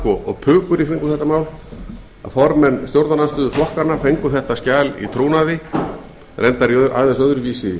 og pukur í kringum þetta mál að formenn stjórnarandstöðuflokkanna fengu skjalið í trúnaði reyndar í aðeins öðruvísi